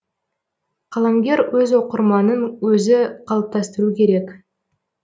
қаламгер өз оқырманын өзі қалыптастыру керек